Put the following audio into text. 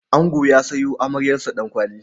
Ango ya sayo amaryarsa Ɗankwali.